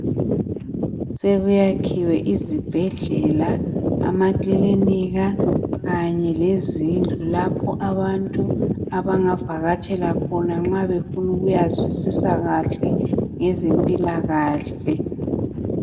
Sekuyakhiwe izibhedlela amakilinika kanye lezindlu lapho abantu abangavakatshela khona nxa befuna ukuyazwisisa kahle ngezempilakahle